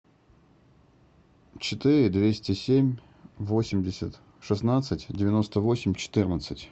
четыре двести семь восемьдесят шестнадцать девяносто восемь четырнадцать